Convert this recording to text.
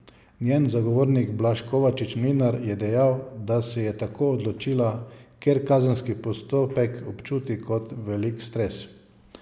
Njen zagovornik Blaž Kovačič Mlinar je dejal, da se je tako odločila, ker kazenski postopek občuti kot velik stres.